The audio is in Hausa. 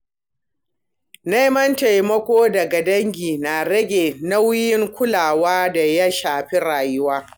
Neman taimako daga dangi na rage nauyin kulawa da ya shafi rayuwa.